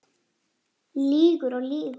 Hvað eruði að gera?